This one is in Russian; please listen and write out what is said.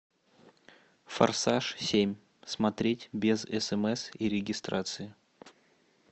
форсаж семь смотреть без смс и регистрации